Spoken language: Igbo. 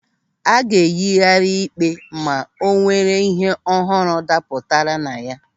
A ga-eyighari ịkpe ma o nwere ịhe ọhụrụ dapụtara na ya.